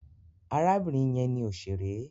Arábìnrin yẹn ni òṣèré.